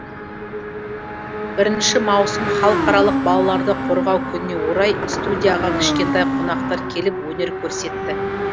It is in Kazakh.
бірінші маусым халықаралық балаларды қорғау күніне орай студияға кішкентай қонақтар келіп өнер көрсетті